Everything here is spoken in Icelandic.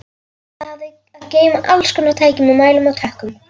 Það hafði að geyma allskonar tæki með mælum og tökkum.